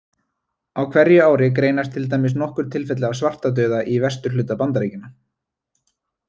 Á hverju ári greinast til dæmis nokkur tilfelli af svartadauða í vesturhluta Bandaríkjanna.